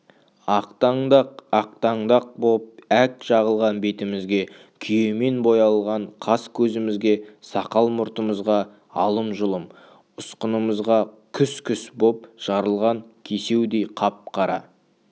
ақтаңдақ-ақтаңдақ боп әк жағылған бетімізге күйемен боялған қасы-көзімізге сақал-мұртымызға алым-жұлым ұсқынымызға күс-күс боп жарылған кесеудей қап-қара